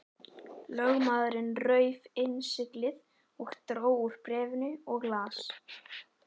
Lögmaðurinn rauf innsiglið og dró úr bréfinu og las.